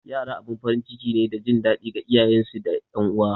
Yara abin farin ciki ne da jin daɗi ga iyayensu da ’yan uwa.